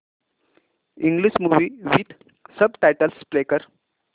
English movie with subtitles play कर